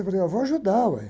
Eu falei, ah, vou ajudar, ué.